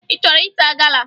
Ị chọrọ ịta gala?